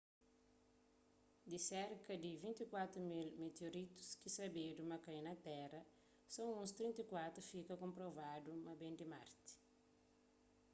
di serka di 24.000 mitioritus ki sabedu ma kai na téra so uns 34 fika konprovadu ma ben di marti